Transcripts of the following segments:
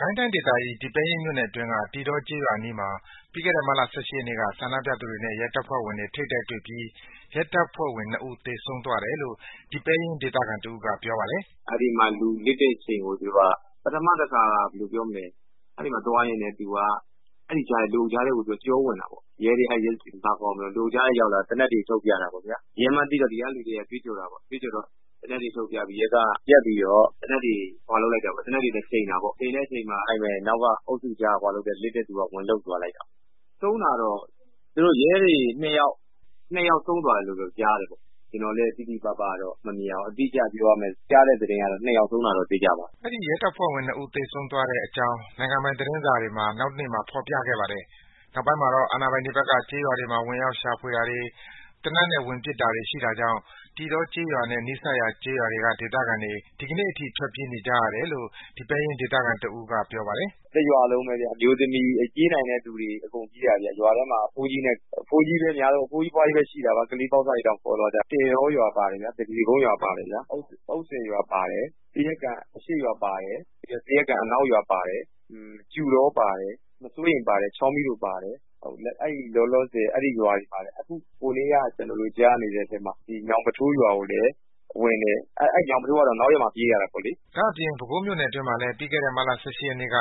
ကိုင်းတိုင်းဒေသကြီး၊ ဒီပဲရင်းမြို့နယ်အတွင်းက တည်တော ကျေးရွာအနီးမှာ ပြီးခဲ့တဲ့ မတ်လ ၁၈ ရက်နေ့က ဆန္ဒပြပြည်သူတွေနဲ့ ရဲတပ်ဖွဲ့ဝင်တွေ ထိပ်တိုက်တွေ့ပြီး ရဲတပ်ဖွဲ့ဝင် နှစ်ဦး သေဆုံးသွားတယ်လို့ ဒီပဲရင်းဒေသခံတစ်ဦးက ပြောပါတယ်။ “အဲဒီမှာ သေနတ်က နှစ်လက်နဲ့ ရဲတပ်သား နှစ်ယောက်ရယ်၊ စခန်းမှူးရယ်၊ ရာထူးကတော့ ကျနော်လည်း မသိဘူး၊ ရဲဝတ်စုံတွေနဲ့ ပထမတစ်ခါ အဲဒီမှာ လူအုပ်ကြားထဲကို ကျော်ဝင်တာပေါ့။ လူအုပ်ကြားထဲရောက်လာတော့ သေနတ်တွေ ထုတ်ပြတာပေ့ါဗျာ။ ရဲမှန်းသိတော့ ဒီကလူတွေက ကြွေးကြော်တာပေါ့။ အဲဒီမှာ ရဲကားက ရပ်ပြီးတော့ သေနတ်တွေနဲ့ချိန်တာပေါ့။ အဲဒီမှာ နောက်က လူအုပ်ကြားက လစ်တဲ့ သူက ဝင်လုပ်သွားလိုက်တာ။ ဆုံးသွားတာကတော့ သူတို့ရဲတွေ နှစ်ယောက် ဆုံးသွားတယ်လို့ ကြားတယ်ဗျာ။ ကျနော်လည်း အတိအကျ မြင်လိုက်တာမဟုတ်ဘူး။ ကြားတဲ့ သတင်းကတော့ နှစ်ယောက်ဆုံးသွားတယ်လို့ ကြားတယ်ဗျာ။” ရဲတပ်ဖွဲ့ဝင် နှစ်ဦး သေဆုံးသွားတဲ့အကြောင်း နိုင်ငံပိုင်သတင်းစာတွေမှာ နောက်တနေ့မှာ ဖော်ပြခဲ့ပါတယ်။ နောက်ပိုင်းမှာ အာဏာပိုင်တွေဘက်က ကျေးရွာတွေမှာ ဝင်ရောက် ရှာဖွယ်တာတွေ သေနတ်ပစ်ဝင်လာတာတွေ ရှိတာကြောင့် တည်တောကျေးရွာနဲ့ နီးစပ်ကျေးရွာတွေကဒေသခံတွေ ဒီကနေ့အထိ ထွက်ပြေးနေကြရတယ်လို့ ဒီပဲရင်းဒေသခံတစ်ဦးက ပြောပါတယ်။ “တစ်ရွာလုံးပဲ ပြေးနိုင်တဲ့ သူတွေ အကုန်ပြေးရတယ်ဗျာ။ ရွာထဲမှာ အဘိုးကြီးတွေ အဘွားကြီးတွေနဲ့ ကလေးတွေလောက်ပဲ ကျန်ခဲ့တာ။ ကလေးတွေတောင် ခေါ်သွားကြာတယ်။ ထွက်ပြေးနေရတာတော့ တည်တောရွာပါတယ်၊ သပြေကုန်းရွာပါတယ်၊ အုတ်ဆည်ရွာပါတယ်၊ သရက်ကန်အရှေ့ရွာ၊ သရက်ကန်အနောက်ရွာပါတယ်၊ ကျူတောပါတယ်၊ မစိုးရိမ်ပါတယ်၊ ချောင်းမီးတိုပါတယ်။ အခုကြားရတာက ညောင်းပထိုးရွာလည်းပါတယ်။ အဲဒီရွာကတော့ နောက်ရက်မှ ပြေးရတာပေါ့လေ။” ဒါ့အပြင် ပဲခူးမြို့နယ်အတွင်းမှာလည်း ပြီးခဲ့တဲ့ မတ်လ ၁၈ ရက်နေ့က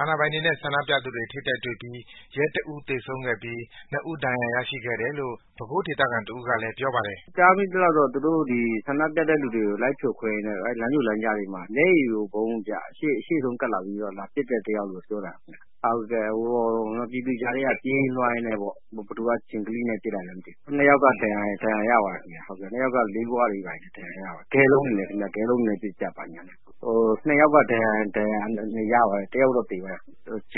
အာဏာပိုင်တွေနဲ့ ဆန္ဒပြပြည်သူတွေ ထိပ်တိုက်တွေ့ပြီး ရဲတစ်ဦး သေဆုံးသေဆုံးခဲ့ပြီး နှစ်ဦး ဒဏ်ရာရရှိခဲ့ တယ်လို့ ပဲခူးဒေသခံတစ်ဦးကပြောပါတယ်။ “သူတို့ ဆန္ဒပြပြည်သူတွေကို လိုက်ဖြိုခွင်းရင်းနဲ့ လမ်းကြို လမ်းကြားတွေမှာ ရှေ့ဆုံးက မျက်ရည်ယိုဗုံး လာပစ်တဲ့ တစ်ယောက်ပေါ့။ ပြည်သူတွေကြားထဲက ပြေးရင်းလွှားရင်းနဲ့ ဘယ်သူက ဂျင်ကလိနဲ့ ပစ်လိုက်လဲ မသိဘူး။ နှစ်ယောက်က ဒဏ်ရာရသွားတယ်။ လေးဂွတွေ၊ ဂဲလုံးတွေနဲ့ ပစ်ကြတော့ နှစ်ယောက် ဒဏ်ရာရတယ်။ တစ်ယောက်တော့ သေသွားတယ်။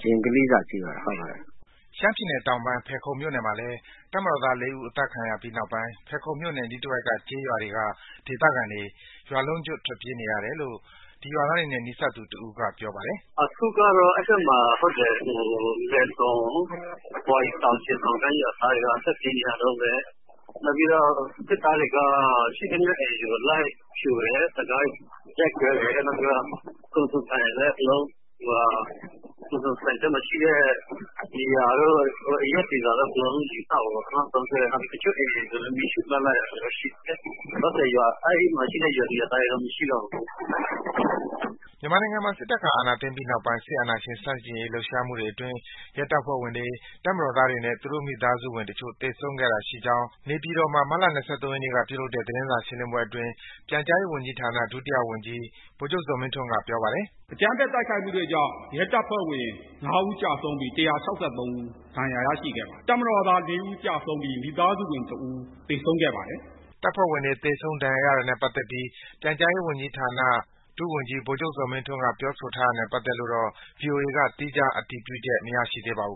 ဂျင်ကလိစာ ထိသွားတာပေါ့။” ရှမ်းပြည်နယ်တောင်ပိုင်၊း ဖယ်ခုံမြို့နယ်ဘက်မှာလည်း တပ်မတော်သားလေးဦး အသတ်ခံရပြီး နောက်ပိုင်း ဖယ်ခုံမြို့နယ် အနီးတဝိုက်က ကျေးရွာတွေက ဒေသခံတွေ ရွားလုံးကျွတ်ထွက်ပြေးနေရတယ်လို့ ရွာသားတွေနဲ့ နီးစပ်သူတစ်ဦးကပြောပါတယ်။ “အဲဒီဘက်မှာ ဒေသခံတွေက ထွက်ပြေးနေရတုန်းပဲ နောက်ပြီးတော့ စစ်သားတွေက ရှိသမျှ အိမ်တွေကို လိုက်ပြီးတော့ ရိုက်ခွဲတယ်။ နောက်ပြီးတော့ ကုန်စုံဆိုင်တွေမှာ ရှိတဲ့ ဘီယာတွေကို လိုက်ပြီးတော့ အရက်တွေ အကုန်လုံးကို လိုက်ပြီးတော့ ယူသောက်တာပေါ့နော်။ တစ်ချို့ အိမ်တွေကိုလည်း မီးရှို့ခဲ့တာ ရှိတယ်။ အဲဒီမှာ ရှိတဲ့ ရွာသူ ရွာသားတွေတော့ မရှိတော့ဘူး။” မြန်မာနိုင်ငံမှာ စစ်တပ်က အာဏာသိမ်းပိုင်းနောက်ပိုင်း အာဏာရှင်ဆန့်ကျင် လှုပ်ရှားမှူ တွေအတွင်း ရဲတပ်ဖွဲ့ဝင်တွေ၊ တပ်မတော်သားနဲ့ သူတို့မိသားဝင်တချို့ သေဆုံးခဲ့တာရှိကြောင်း နေပြည်တော်မှာ မတ်လ ၂၃ ရက်နေ့ကပြုလုပ်တဲ့ သတင်းစာရှင်းလင်းပွဲအတွင်း ပြန်ကြားရေးဝန်ကြီးဌာန ဒုဝန်ကြီး ဗိုလ်ချုပ်ဇော်မင်းထွန်းက ပြောပါတယ်။ “အကြမ်းဖက် တိုက်ခိုက်မှုတွေကြောင့် ရဲတပ်ဖွဲ့ဝင် ငါးဦး ကျဆုံးပြီး ၁၆၃ ဦး ဒဏ်ရာ ရရှိခဲ့ပါတယ်။ တပ်မတော်သား လေးဦး ကျဆုံးပြီး မိသားစုဝင် တစ်ဦး ကျဆုံးခဲ့ပါတယ်။” ရဲတပ်ဖွဲ့ဝင်တွေ သေဆုံးဒဏ်ရာရတာနဲ့ ပတ်သတ်ပြီး ပြန်ကြားရေးဝန်ကြီးဌာန ဒုဝန်ကြီး ဗိုလ်ချုပ်ဇော်မင်းထွန်းက ပြောဆိုထားတာနဲ့ ပတ်သတ်ပြီး ဗွီအိုအေကတော့ သီးခြားအတည်ပြုချက်မရရှိသေးပါဘူး